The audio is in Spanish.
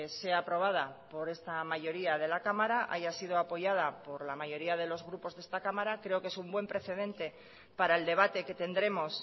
sea aprobada por esta mayoría de la cámara haya sido apoyada por la mayoría de los grupos de esta cámara creo que es un buen precedente para el debate que tendremos